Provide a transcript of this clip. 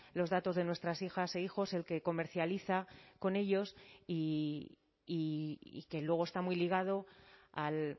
los datos de nuestras hijas e hijos el que comercializa con ellos y que luego está muy ligado al